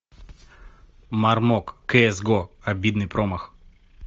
мармок кс го обидный промах